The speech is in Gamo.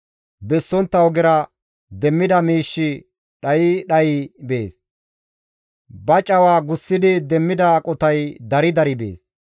Bessontta ogera demmida miishshi dhayi dhayi bees; ba cawa gussidi demmida aqotay dari dari bees.